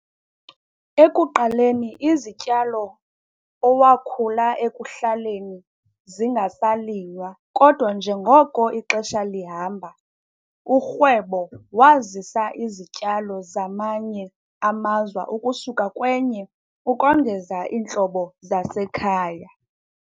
Ekuqaleni, izityalo owakhulayo ekuhlaleni ange sasilinywa, kodwa njengoko ixesha lihamba, urhwebo wazisa izityalo zamanye amazwe ukusuka kwenye ukongeza iintlobo zasekhaya.